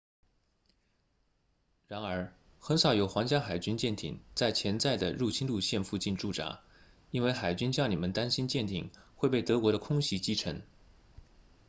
然而很少有皇家海军舰艇在潜在的入侵路线附近驻扎因为海军将领们担心舰艇会被德国的空袭击沉